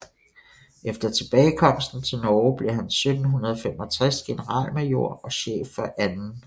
Efter tilbagekomsten til Norge blev han 1765 generalmajor og chef for 2